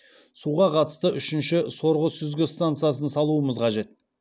суға қатысты үшінші сорғы сүзгі стансасын салуымыз қажет